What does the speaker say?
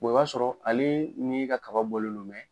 i b'a sɔrɔ ale ni i ka kaba bɔlen do